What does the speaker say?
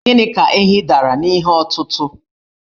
Gịnị ka ehi dara n'ihe ọtụtụ̀?